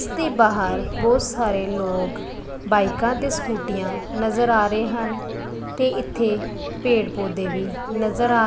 ਤੇ ਬਾਹਰ ਬਹੁਤ ਸਾਰੇ ਲੋਕ ਬਾਈਕਾਂ ਤੇ ਸਕੂਟੀਆਂ ਨਜ਼ਰ ਆ ਰਹੇ ਹਨ ਤੇ ਇੱਥੇ ਪੇੜ ਪੌਧੇ ਵੀ ਨਜ਼ਰ ਆ --